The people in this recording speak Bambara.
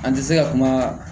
An tɛ se ka kuma